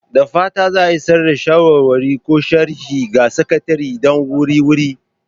Da fatan za a isar da shawarwari ko sharhi ga Sakatare da wuri-wuri!